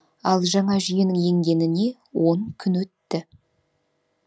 ал жаңа жүйенің енгеніне он күн өтті